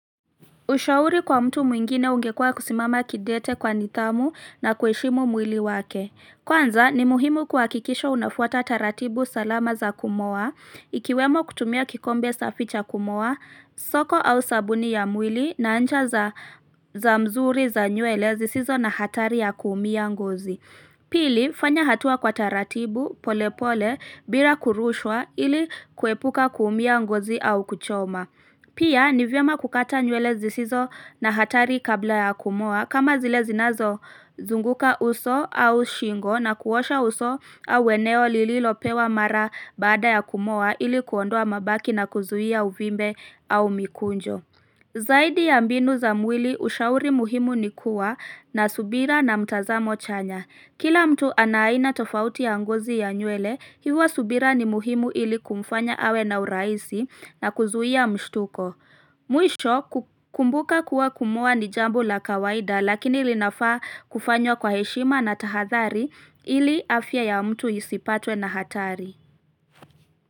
Ushauri kwa mtu mwingine ungekua kusimama kidete kwa nidhamu na kuheshimu mwili wake. Kwanza, ni muhimu kuhakikisha unafuata taratibu salama za kumoa, ikiwemo kutumia kikombe safi cha kumoa, soko au sabuni ya mwili, na ncha za mzuri za nywele zisizo na hatari ya kuumia ngozi. Pili, fanya hatua kwa taratibu, pole pole, bila kurushwa, ili kuepuka kuumia ngozi au kuchoma. Pia, ni vyema kukata nywele zisizo na hatari kabla ya kumoa, kama zile zinazo zunguka uso au shingo na kuosha uso au eneo lililopewa mara baada ya kumoa ili kuondoa mabaki na kuzuia uvimbe au mikunjo. Zaidi ya mbinu za mwili, ushauri muhimu ni kuwa na subira na mtazamo chanya. Kila mtu ana aina tofauti ya ngozi ya nywele, hivo subira ni muhimu ili kumfanya awe na urahisi na kuzuia mshtuko. Mwisho kumbuka kuwa kumoa ni jambo la kawaida lakini ilinafaa kufanywa kwa heshima na tahadhari ili afya ya mtu isipatwe na hatari.